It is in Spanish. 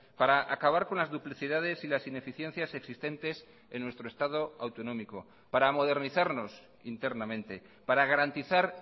para acabar con las duplicidades y las ineficiencias existentes en nuestro estado autonómico para modernizarnos internamente para garantizar